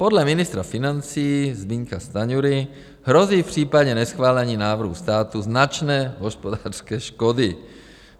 Podle ministra financí Zbyňka Stanjury hrozí v případě neschválení návrhu státu značné hospodářské škody.